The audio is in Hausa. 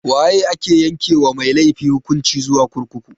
Waye ake yanke wa mai laifi hukunci zuwa kurkuku?